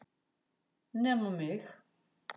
Nema mig!